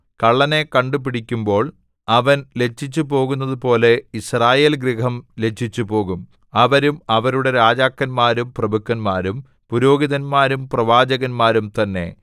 കള്ളനെ കണ്ടുപിടിക്കുമ്പോൾ അവൻ ലജ്ജിച്ചുപോകുന്നതുപോലെ യിസ്രായേൽഗൃഹം ലജ്ജിച്ചുപോകും അവരും അവരുടെ രാജാക്കന്മാരും പ്രഭുക്കന്മാരും പുരോഹിതന്മാരും പ്രവാചകന്മാരും തന്നെ